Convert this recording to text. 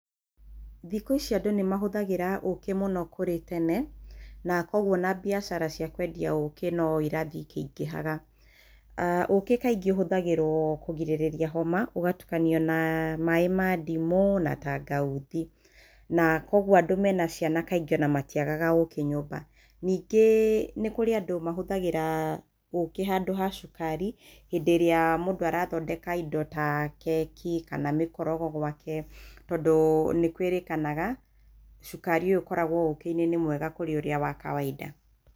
Thikũ ici andũ nĩ mahũthagĩra ũkĩ mũno kũrĩ tene, na kũoguo mbiacara cia kwendia ũkĩ no irathiĩ ikĩingĩhaga. Ũkĩ kaingĩ ũhũthagĩrwo kũrigĩrĩria homa, ũgatukania na maĩ ma ndimũ, na tangauthi na kũoguo andũ mena ciana matiagaga ũkĩ nyũmba. Ningĩ nĩ kũrĩ andũ mahũthagĩra ũkĩ handũ ha cukari hĩndĩ ĩrĩa mũndũ arathondeka indo ta keki kana mĩkorogo gwake tondũ nĩkwĩrĩkanaga cukari ũyũ ũkoragwo ũki-inĩ nĩ mwega kũrĩ ũrĩa wa kawainda.